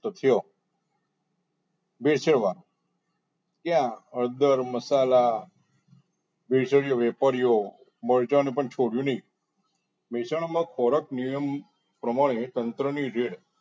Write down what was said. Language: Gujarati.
તો ભેળસેળવાળા કે હળદર મસાલા ભેરસેળ ઓ વેપારીઓ મરચા ને પણ છોડ્યું નહીં વેચાણમાં ખોરાક નિયમ પ્રમાણે તંત્ર ની raid